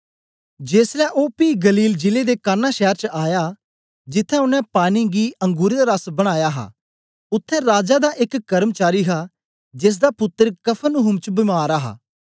जेसलै ओ पी गलील जिले दे काना शैर च आया जित्त्थें ओनें पानी गी अंगुरें दा रस बनाया हा उत्थें राजा दा एक कर्मचारी हा जेसदा पुत्तर कफरनहूम च बीमार हा